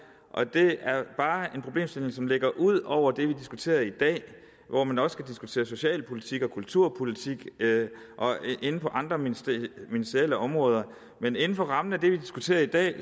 det er bare en problemstilling som ligger ud over det vi diskuterer i dag og hvor man også kan diskutere socialpolitik og kulturpolitik på andre ministerielle ministerielle områder men inden for rammen af det vi diskuterer i dag